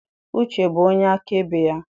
Uche bụ onye akaebe ya.